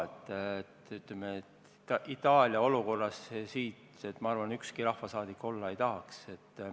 Ütleme nii, et Itaalia olukorras, ma arvan, ükski rahvasaadik siin olla ei tahaks.